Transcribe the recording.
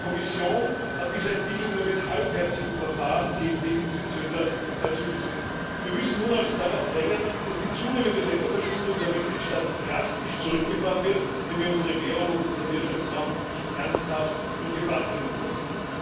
Und die Kommission hat dieser Entwicklung mit nur halbherzigen Verfahren gegen Defizitsünder zugesehen. Wir müssen nun also darauf drängen, dass die zunehmende Nettoverschuldung der Mitgliedstaaten drastisch zurückgefahren wird, wenn wir unsere Währung und unseren Wirtschaftsraum nicht ernsthaft in Gefahr bringen wollen.